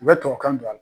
U bɛ tubabu kan don a la